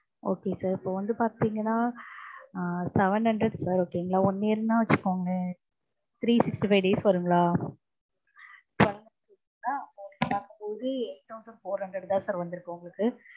okay sir இப்போ வந்து பாத்தீங்கனா அஹ் seven hundred sir one year னா வச்சுக்கோங்களேன். three sixty five days வருங்களா? four hunderd தா sir வந்திருக்கும் உங்களுக்கு